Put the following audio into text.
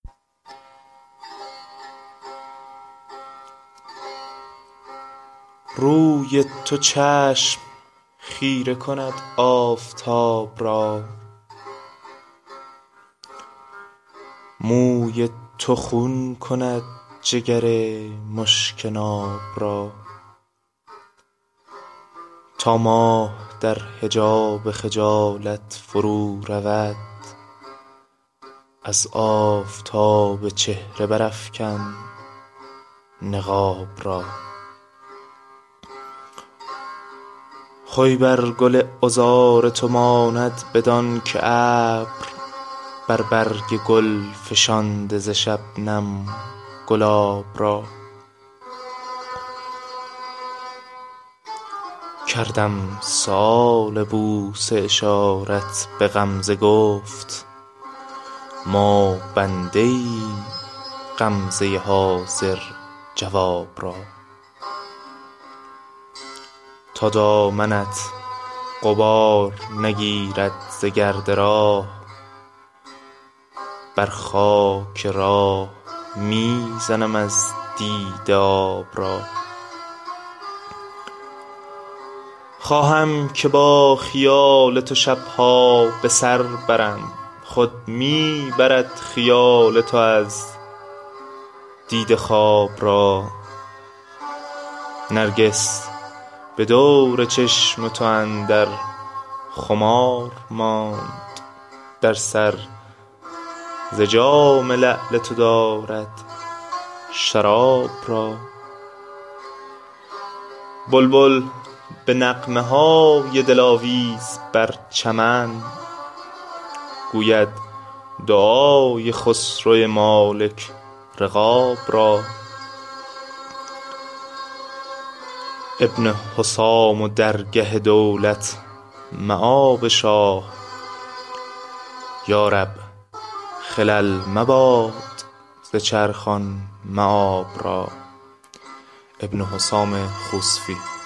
روی تو چشم خیره کند آفتاب را موی تو خون کند جگر مشک ناب را تا ماه در حجاب خجالت فرو رود از آفتاب چهره برافکن نقاب را خوی بر گل عذار تو ماند بدان که ابر بر برگ گل فشانده ز شبنم گلاب را کردم سؤال بوسه اشارت به غمزه گفت ما بنده ایم غمزه حاضر جواب را تا دامنت غبار نگیرد ز گرد راه بر خاک راه می زنم از دیده آب را خواهم که با خیال تو شبها به سر برم خود می برد خیال تو از دیده خواب را نرگس به دور چشم تو اندر خمار ماند در سر ز جام لعل تو دارد شراب را بلبل به نغمه های دلاویز بر چمن گوید دعای خسرو مالک رقاب را ابن حسام و درگه دولت مآب شاه یارب خلل مباد ز چرخ آن مآب را